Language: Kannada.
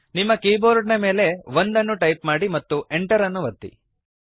ನಿಮ್ಮ ಕೀಬೋರ್ಡ್ ನ ಮೇಲೆ 1 ಅನ್ನು ಟೈಪ್ ಮಾಡಿರಿ ಮತ್ತು Enter ಅನ್ನು ಒತ್ತಿರಿ